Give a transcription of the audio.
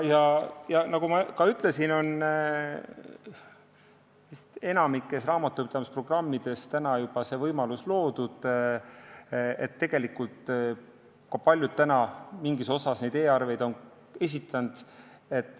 Nagu ma ütlesin, enamikus raamatupidamisprogrammides on juba see võimalus loodud, tegelikult on paljud mingis osas e-arveid esitanud.